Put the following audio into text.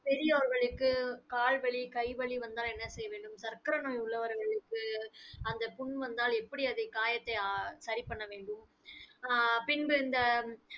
பெரியோர்களுக்கு கால் வலி, கை வலி வந்தா என்ன செய்வது? சர்க்கரை நோய் உள்ளவருக்கு அந்த புண் வந்தால் எப்படி அதை காயத்தை அஹ் சரி பண்ண வேண்டும் ஆஹ் பின்பு இந்த